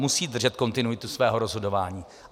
Musí držet kontinuitu svého rozhodování.